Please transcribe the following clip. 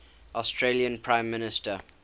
australian prime minister